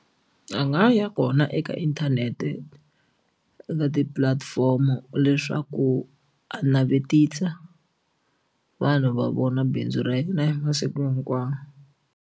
A nga ya kona eka inthanete eka tipulatifomo leswaku a navetisa vanhu va vona bindzu ra yena hi masiku hinkwawo.